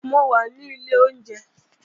Mo wà ní ilé oúnjẹ